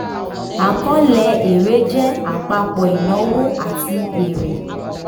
àkọọ́lẹ̀ èrè jẹ́ àpapọ̀ ìnáwó àti èrè.